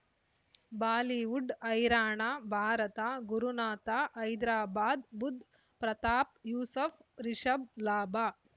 Bollywood ಹೈರಾಣ ಭಾರತ ಗುರುನಾಥ ಹೈದರಾಬಾದ್ ಬುಧ್ ಪ್ರತಾಪ್ ಯೂಸುಫ್ ರಿಷಬ್ ಲಾಭ